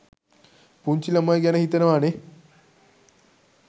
පුංචි ළමයි ගැන හිතනවා නේ?